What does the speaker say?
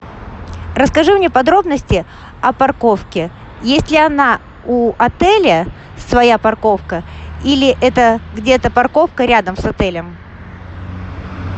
расскажи мне подробности о парковке есть ли она у отеля своя парковка или это где то парковка рядом с отелем